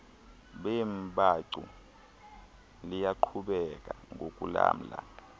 beembacu liyaqhubeka ngokulamla